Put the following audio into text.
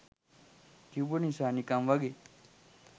කිව්ව නිසා නිකන් වගෙ